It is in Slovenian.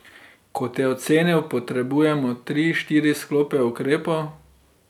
Kot je ocenil, potrebujemo tri, štiri sklope ukrepov.